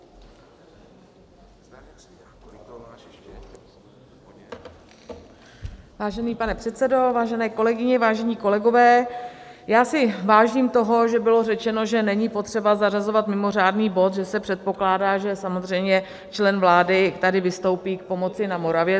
Vážený pane předsedo, vážené kolegyně, vážení kolegové, já si vážím toho, že bylo řečeno, že není potřeba zařazovat mimořádný bod, že se předpokládá, že samozřejmě člen vlády tady vystoupí k pomoci na Moravě.